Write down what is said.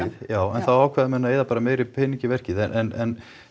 já en þá ákveða menn að eyða meiri pening í verkið en